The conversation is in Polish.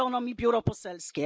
Spalono mi biuro poselskie.